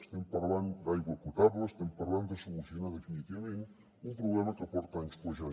estem parlant d’aigua potable estem parlant de solucionar definitivament un problema que porta anys cuejant